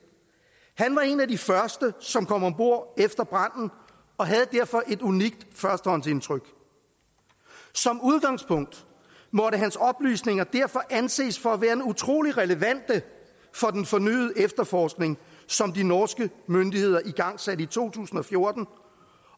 han var en af de første som kom om bord efter branden og havde derfor et unikt førstehåndsindtryk som udgangspunkt måtte hans oplysninger derfor anses for at være utrolig relevante for den fornyede efterforskning som de norske myndigheder igangsatte i to tusind og fjorten